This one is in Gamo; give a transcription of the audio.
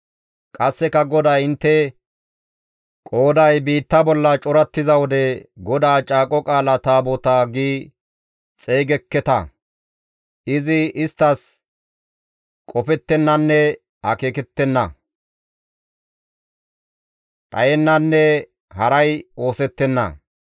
Qasseka GODAY intte qooday biitta bolla corattiza wode, ‹GODAA Caaqo Qaala Taabotaa› gi xeygekketa. Izi isttas qofettennanne akeekettenna, dhayennanne haray oosettenna.